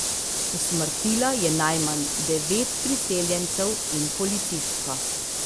Usmrtila je najmanj devet priseljencev in policistko.